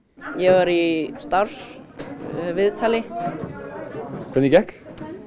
ég var í starfsviðtali hvernig gekk uuu